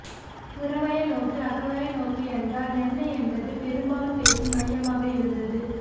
புறவய நோக்கு அகவய நோக்கு என்றால் என்ன என்பதே பெரும்பாலும் பேச்சின் மையமாக இருந்தது